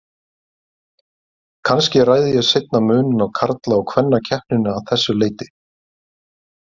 Kannski ræði ég seinna muninn á karla- og kvennakeppninni að þessu leyti.